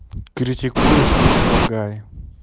критикуешь предлагай